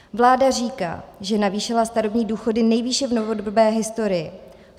Vláda říká, že navýšila starobní důchody nejvýše v novodobé historii.